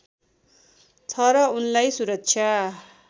छ र उनलाई सुरक्षा